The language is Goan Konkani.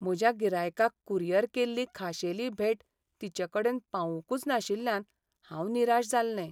म्हज्या गिरायकाक कुरियर केल्ली खाशेली भेट तिचेकडेन पावूंकुच नाशिल्ल्यान हांव निराश जाल्लें.